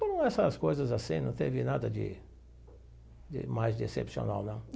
Como essas coisas assim, não teve nada de de mais de excepcional, não.